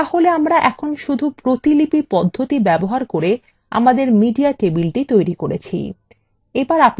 তাহলে আমরা এখন শুধু প্রতিলিপি পদ্ধতি ব্যবহার copy আমাদের media table তৈরি করেছি